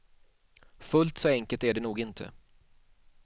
Fullt så enkelt är det nog inte.